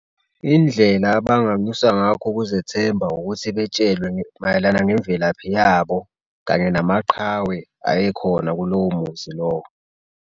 Indlela abanganyusa ngakho ukuzethemba ukuthi betshelwe mayelana ngemvelaphi yabo kanye namaqhawe ayekhona kulowo muzi lowo.